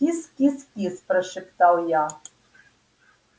кис-кис-кис прошептал я